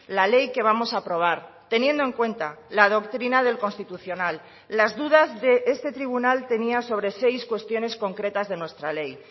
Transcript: la ley que vamos a aprobar teniendo en cuenta la doctrina del constitucional las dudas de este tribunal tenía sobre seis cuestiones concretas de nuestra ley